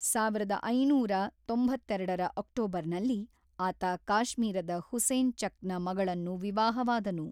ಸಾವಿರದ ಐನೂರ ತೊಂಬತ್ತೆರಡರ ಅಕ್ಟೋಬರ್‌ನಲ್ಲಿ ಆತ ಕಾಶ್ಮೀರದ ಹುಸೇನ್ ಚಕ್‌ನ ಮಗಳನ್ನು ವಿವಾಹವಾದನು.